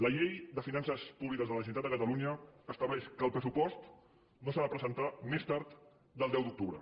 la llei de finances públiques de la generalitat de catalunya estableix que el pressupost no s’ha de presentar més tard del deu d’octubre